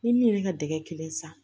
Ni min ye ka dɛgɛ kelen san